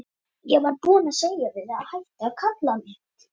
Hann verður frá í einhvern tíma.